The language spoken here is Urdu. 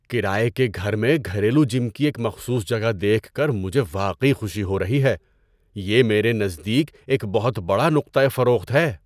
کرایہ کے گھر میں گھریلو جم کی ایک مخصوص جگہ دیکھ کر مجھے واقعی خوشی ہو رہی ہے – یہ میرے نزدیک ایک بہت بڑا نقطۂ فروخت ہے۔